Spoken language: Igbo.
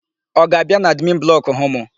Ọ ga-abịa n'admin blọkụ hụ mụ?